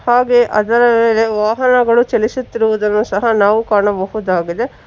ಹಾಗೆ ಅದರ ವಾಹನಗಳು ಚಲಿಸುತ್ತಿರುವುದನ್ನು ಸಹ ನಾವು ಕಾಣಬಹುದಾಗಿದೆ.